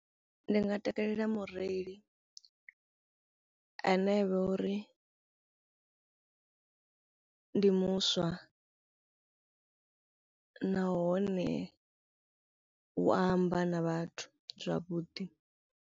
Ndi nga takalela mureili ane avha uri ndi muswa nahone u amba na vhathu zwavhuḓi.